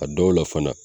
A dɔw la fana